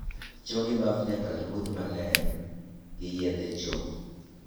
Choo gi baf nyaka rudh maler gi yedhe choo